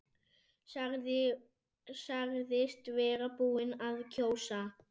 Sagðist vera búinn að kjósa.